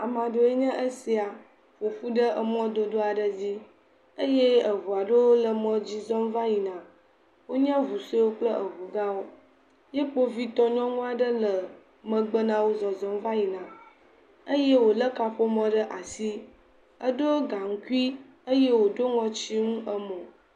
Ame aɖee nye esia ƒoƒu ɖe emɔdodo aɖe dzi eye eŋu aɖewo le emɔ dzi zɔm va yina. Wonye eŋu suewo kple eŋu gã wo. Ye kpovitɔ nyɔnu aɖe le megbe na wo zɔzɔm va yina eye wo le kaƒomɔ ɖe asi. Eɖo gaŋkui eye woɖo ŋɔtsi nu emo.